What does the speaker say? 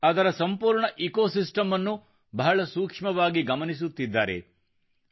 ಅದರ ಸಂಪೂರ್ಣ ecosystem ನ್ನು ಬಹಳಸೂಕ್ಷ್ಮವಾಗಿ ಗಮನಿಸುತ್ತಿದ್ದಾನೆ